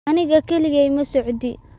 Aniga kaligay ma socdii